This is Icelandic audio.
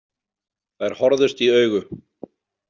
Þær horfðust í augu.